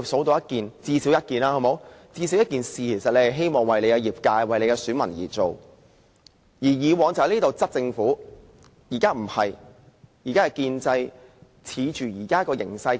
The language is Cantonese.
大家最少能舉出一件希望為其業界和選民而做的事，而以往這裏是大家迫使政府做事的地方。